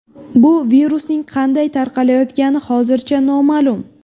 Bu virusning qanday tarqalayotgani hozircha noma’lum.